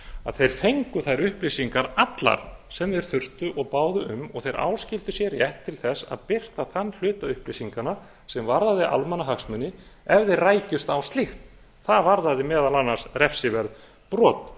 að þeir fengu þær upplýsingar allar sem þeir þurftu og báðu um og þeir áskildu sér rétt til þess að birta þann hluta upplýsinganna sem varðaði almannahagsmuni ef þeir rækjust á slíkt það varðaði meðal annars refsiverð brot